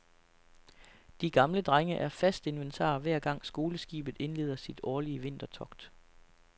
De gamle drenge er fast inventar, hver gang skoleskibet indleder sit årlige vintertogt.